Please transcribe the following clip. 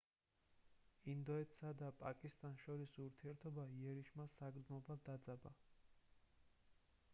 ინდოეთსა და პაკისტანს შორის ურთიერთობა იერიშმა საგრძნობლად დაძაბა